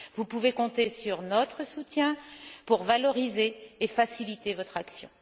Vous pouvez compter sur notre soutien pour valoriser et faciliter votre action.